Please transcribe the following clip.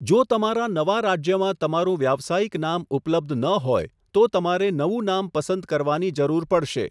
જો તમારાં નવા રાજ્યમાં તમારું વ્યાવસાયિક નામ ઉપલબ્ધ ન હોય તો, તમારે નવું નામ પસંદ કરવાની જરૂર પડશે.